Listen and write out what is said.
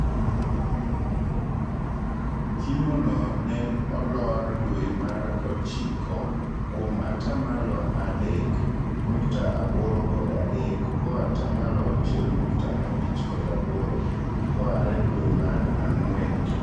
Kimo no nen olor dwee mar ochiko kuom ataa malo aedek nukta aboro kod adek koaa ataa malo auchiel nukta abich kod aboro koare dwee mar ang'wen.